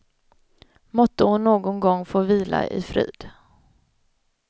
Måtte hon någon gång få vila i frid.